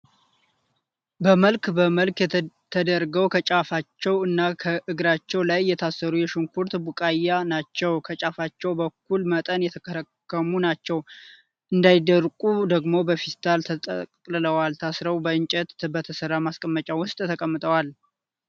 በመልክ በመልክ ተደርገው ከጫፋቸው እና እግራቸው ላይ የታሰሩ የሽንኩርት ቡቃያ ናቸው ። ከጫፋቸውም በእኩል መጠን የተከረከሙ ናቸው ። እንዳይደርቁ ደግሞ በፌስታል ተጠቅልለው ታስረው በእንጨት በተሰራ ማስቀመጫ ውስጥ ተቀምጠዋል